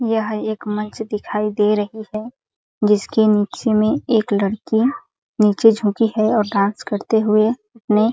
यह एक मंच दिखाई दे रही है जिसके नीचे में एक लड़की नीचे झुकी है और डांस करते हुए ने --